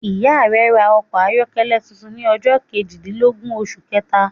Ìya rẹ ra okò ayọ́kẹ́lẹ́ tuntun ni ọjọ́ kejìdínlógún osù kẹèta